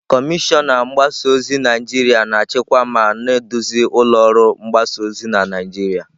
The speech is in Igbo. Kọmishọna mgbasa ozi Naijiria na-achịkwa ma na-eduzi ụlọ ọrụ mgbasa ozi na Naijiria.